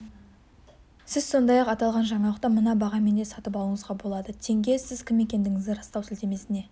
сіз сондай-ақ аталған жаңалықты мына бағамен де сатып алуыңызға болады тенге сіз кім екендігіңізді растау сілтемесіне